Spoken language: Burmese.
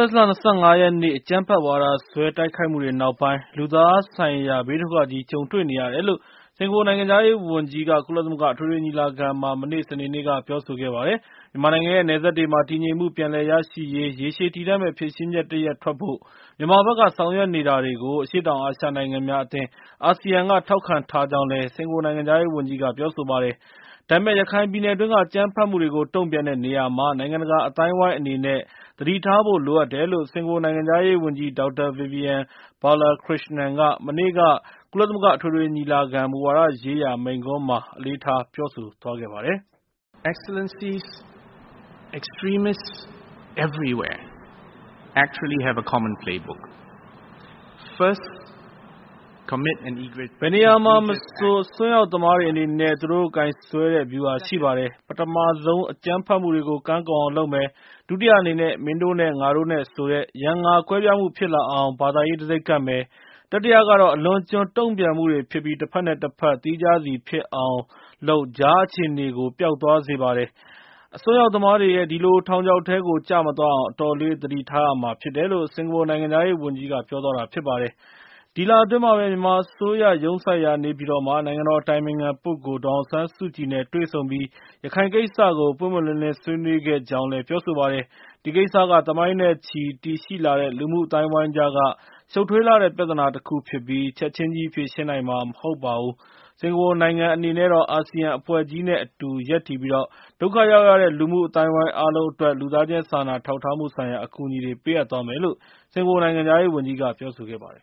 တ်လ ၂၅ ရက်နေ့ အကြမ်းဖက်ဝါဒစွဲ တိုက်ခိုက်မှုတွေ နောက်ပိုင်း လူသားဆိုင်ရာ ဘေးဒုက္ခကြီး ကြုံတွေ့နေရတယ်လို့ စကာၤပူ နိုင်ငံခြားရေး ဝန်ကြီးက ကုလသမဂ္ဂ အထွေထွေ ညီလာခံမှာ မနေ့ စနေနေ့က ပြောဆိုခဲ့ပါတယ်။ မြန်မာနိုင်ငံရဲ့ နယ်စပ်တွေမှာ တည်ငြိမ်မှု ပြန်လည်ရရှိရေး ရေရှည်တည်တံ့မယ့် ဖြေရှင်းချက် တရပ်ထွက်ဖို့ မြန်မာဘက်က ဆောင်ရွက်နေတာတွေကို အရှေ့တောင် အာရှ နိုင်ငံများ အသင်း ASEAN က ထောက်ခံထားကြောင်းလည်း စကာၤပူ နိုင်ငံခြားရေး ဝန်ကြီးက ပြောဆိုပါတယ်။ ဒါပေမယ့် ရခိုင်ပြည်နယ်တွင်းက အကြမ်းဖက်မှုတွေကို တုံ့ပြန်တဲ့ နေရာမှာ နိုင်ငံတကာ အသိုင်းအဝိုင်း အနေနဲ့ သတိထားဖို့ လိုအပ်တယ်လို့ စကာၤပူ နိုင်ငံခြားရေး ဝန်ကြီး ဒေါက်တာ ဗီဗီယန် ဘာလာခရစ်ရှနန်က မနေ့က ကုလသမဂ္ဂ အထွေထွေ ညီလာခံ မူဝါဒရေးရာ မိန့်ခွန်းမှာ အလေးထား ပြောဆိုသွားပါတယ်။ ဘယ်နေရာမဆို အစွန်းရောက်သမားတွေအနေနဲ့ သူတို့ကိုင်စွဲတဲ့ဗျူဟာရှိပါတယ်။ ပထမဆုံး အကြမ်းဖက်မှုတွေကို ကမ်းကုန်အောင်လုပ်မယ်။ ဒုတိယအနေနဲ့ မင်းတို့နဲ့ငါတို့ဆိုတဲ့ ရန်ငါ ကွဲပြားမှုဖြစ်လာအောင် ဘာသာရေးတံဆိပ်ကပ်မယ်။ တတိယကတော့ အလွန်အကံျွတုန့်ပြန်မှုတွေဖြစ်ပြီး တဖက်နဲ့တဖက် သီးခြားစီဖြစ်အောင်လုပ် ကြားအခြေအနေကို ပျောက်သွားစေပါတယ်။ အစွန်းရောက်သမားတွေရဲ့ ဒီလို ထောက်ချောက်ထဲကို ကျမသွားအောင် အတော်လေး သတိထားရမှာဖြစ်တယ်လို့ စင်ကာပူ နိုင်ငံခြားရေးဝန်ကြီးက ပြောသွားတာပါ။ ဒီလ အတွင်းမှာဘဲ မြန်မာ အစိုးရ ရုံးစိုက်ရာ နေပြည်တော်မှာ နိုင်ငံတော် အတိုင်ပင်ခံ ပုဂ္ဂိုလ် ဒေါ်အောင်ဆန်းစုကြည်နဲ့ တွေ့ဆုံပြီး ရခိုင်ကိစ္စကို ပွင့်ပွင့်လင်းလင်း ဆွေးနွေးခဲ့ကြောင်းလည်း ပြောဆိုပါတယ်။ ဒီကိစ္စက သမိုင်းနဲ့ချီတည်ရှိလာတဲ့ လူမှုအသိုင်းအဝိုင်းကြားက ရှုပ်ထွေးလှတဲ့ ပြသနာ တခုဖြစ်ပြီး ချက်ချင်းကြီး ဖြေရှင်းနိုင်မှာ မဟုတ်ဘူး။ စကာၤပူ နိုင်ငံ အနေနဲ့တော့ အာဆီယံ အဖွဲ့ကြီးနဲ့ အတူ ရပ်တည်ပြီး ဒုက္ခရောက်ရတဲ့ လူမှုအသိုင်းအဝိုင်း အားလုံ အတွက် လူသားချင်းစာနာထောက်ထားမှု ဆိုင်ရာ အကူအညီတွေ ပေးအပ်သွားမယ်လို့ စကာၤပူ နိုင်ငံခြားရေး ဝန်ကြီးက ပြောဆိုခဲ့ပါတယ်